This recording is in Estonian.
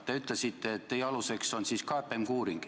Te ütlesite, et teie aluseks on KPMG uuring.